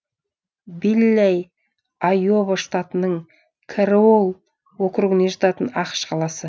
виллэй айова штатының кэрролл округіне жататын ақш қаласы